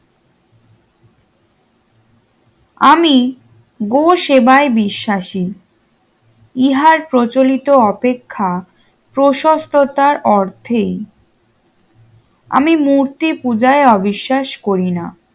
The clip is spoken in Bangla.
আমি গো সেবায় বিশ্বাসী ইহার প্রচলিত অপেক্ষা পসসপ্রথার অর্থে আমি মূর্তি পূজায় অবিশ্বাস করিনা